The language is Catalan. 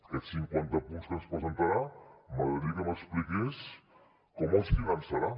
aquests cinquanta punts que ens presentarà m’agradaria que m’expliqués com els finançarà